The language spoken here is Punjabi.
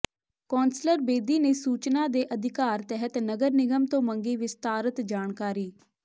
ਕੌਂਸਲਰ ਬੇਦੀ ਨੇ ਸੂਚਨਾ ਦੇ ਅਧਿਕਾਰ ਤਹਿਤ ਨਗਰ ਨਿਗਮ ਤੋਂ ਮੰਗੀ ਵਿਸਤਾਰਤ ਜਾਣਕਾਰੀ